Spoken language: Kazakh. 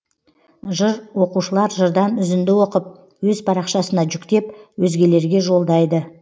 жыр оқушылар жырдан үзінді оқып өз парақшасына жүктеп өзгелерге жолдайды